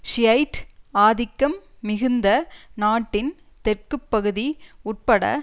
Shiite ஆதிக்கம் மிகுந்த நாட்டின் தெற்குப்பகுதி உட்பட